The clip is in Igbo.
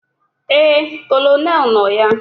Éè, Kolonel nọ ya